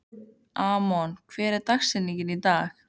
Amon, hver er dagsetningin í dag?